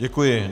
Děkuji.